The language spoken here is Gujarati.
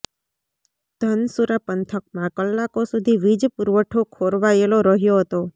ધનસુરા પંથકમાં કલાકો સુધી વીજ પુરવઠો ખોરવાયેલો રહ્યો હતો